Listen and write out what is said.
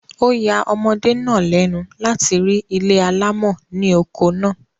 Ó ya omọdé náà lẹ́nu láti rí ilé alámọ̀ ni oko náà